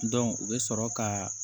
u bɛ sɔrɔ ka